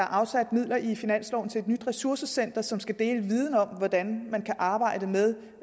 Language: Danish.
afsat midler i finansloven til et nyt ressourcecenter som skal dele viden om hvordan man kan arbejde med